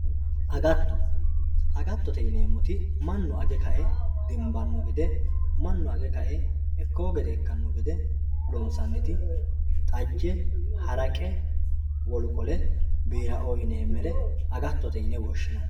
agatto agattote yineemmo woyte mannu age kae dimbanno gede mannu age kae ikkeewo gede ikkanno gede loonsaniti xajje haraqe wolu qole biiraoo yineemmeri agattote yine woshshinanni